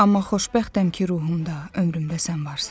Amma xoşbəxtəm ki, ruhumda, ömrümdə sən varsan.